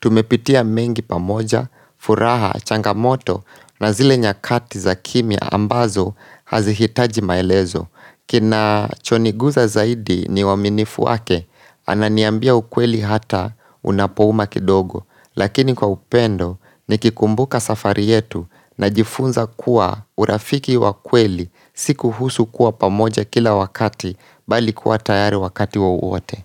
tumepitia mengi pamoja, furaha, changamoto na zile nyakati za kimia ambazo hazihitaji maelezo. Kina choniguza zaidi ni waminifu wake Ananiambia ukweli hata unapohuma kidogo Lakini kwa upendo nikikumbuka safari yetu Najifunza kuwa urafiki wakweli siku husu kuwa pamoja kila wakati Bali kuwa tayari wakati wowote.